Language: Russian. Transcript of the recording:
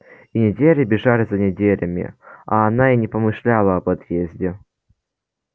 и недели бежали за неделями а она и не помышляла об отъезде